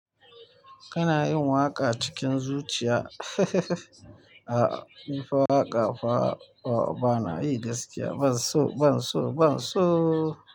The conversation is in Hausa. Kana yin waƙa cikin zuciya. A, a nifa waƙa fa bana yi gaskiya. Ban so, ban so, ban soo.